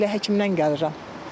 elə həkimdən gəlirəm.